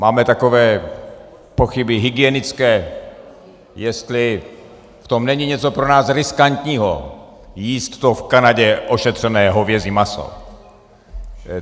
Máme takové pochyby hygienické, jestli v tom není něco pro nás riskantního, jíst to v Kanadě ošetřené hovězí maso.